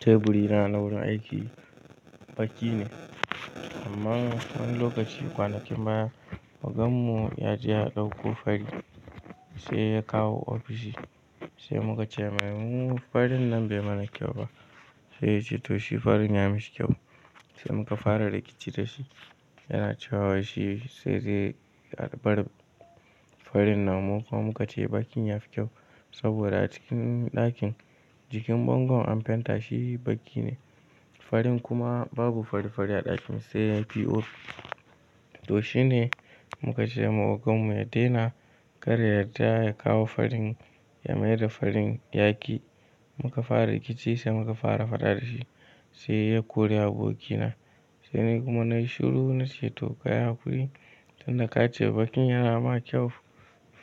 Teburi na na wurin aiki baki ne. Amma wani lokaci kwanakin baya, ogan mu ya je ya ɗauko fari sai ya kawo ofishi. Sai muka ce mai mu farin nan bai mana kyau ba. Sai ya ce to shi farin ya mishi kyau. Sai muka fara rikici da shi. Yana cewa shi sai dai a bar farin, nan muka muka ce bakin ya fi kyau saboda a cikin ɗakin jikin bangon an fenta shi baki ne. Farin kuma babu fari-fari a ɗakin sai POP. To shine muka ce ma ogan mu ya daina kar ya da ya kawo farin ya maida farin yaƙi. Muka fara rikici sai muka fara faɗa da shi. Sai ya kori aboki na. Sai ni kuma nayi shiru na ce to kayahakuri. Tunda ka ce bakin yana ma kyau,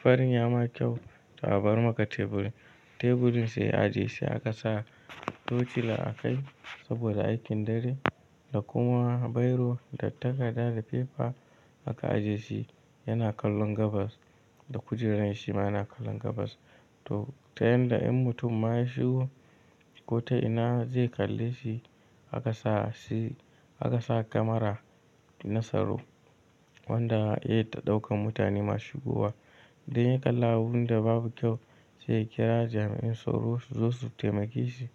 farin ya ma kyau, ta bar maka teburi. Teburin sai a ajiye shi aka sa tocila a kai saboda aikin dare da kuma bairo da takarda da pepa aka ajiye shi. Yana kallon gabas da kujerar shi ma yana kallon gabas. To ta yanda in mutum ma shi gobe, ko ta ina zai kalle shi? Aka sa shi aka sa kamara na soro wanda iya ta ɗaukan mutane masu guba. Dan ya kalla abun da babu kyau sai ya kira jami'in soro su zo su taimake shi,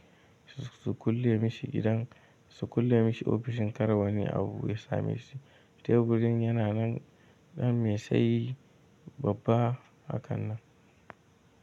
su kulle mishi idan, su kulle mishi ofishin kar wani abu ya same shi. Teburin yana nan ɗan mai tsayi babba hakan nan.